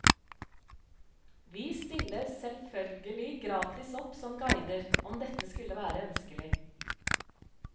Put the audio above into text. Vi stiller selvførgelig gratis opp som guider, om dette skulle være ønskelig.